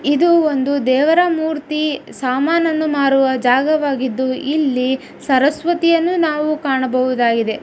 ಇದು ಒಂದು ದೇವರ ಮೂರ್ತಿ ಸಾಮಾನನ್ನು ಮಾರುವ ಜಾಗವಾಗಿದ್ದು ಇಲ್ಲಿ ಸರಸ್ವತಿಯನ್ನು ನಾವು ಕಾಣಬಹುದಾಗಿದೆ.